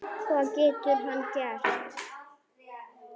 Hvað getur hann gert?